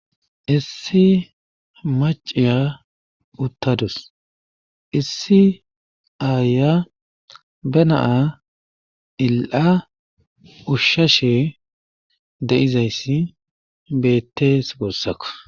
issi maciya uttadus. issi ayiya be na il'a ushshashe de'izayssi bettees guusako.